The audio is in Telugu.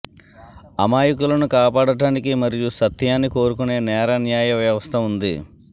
అమాయకులను కాపాడటానికి మరియు సత్యాన్ని కోరుకునే నేర న్యాయ వ్యవస్థ ఉంది